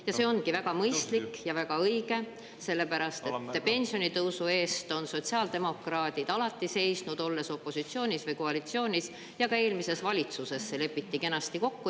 Ja see ongi väga mõistlik ja väga õige, sellepärast et pensionitõusu eest on sotsiaaldemokraadid alati seisnud, olles opositsioonis või koalitsioonis ja ka eelmises valitsuses see lepiti kenasti kokku.